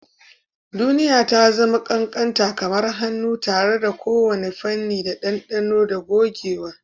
Duniya ta zama ƙanƙanta kamar hannu, tare da kowane fanni da ɗanɗano da gogewa.